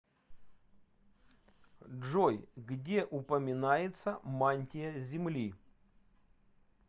джой где упоминается мантия земли